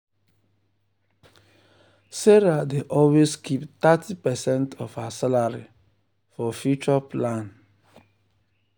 sarah dey always keep thirty percent of her salary for future plan. for future plan.